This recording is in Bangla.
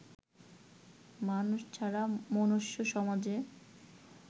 মানুষ ছাড়া মনুষ্য সমাজের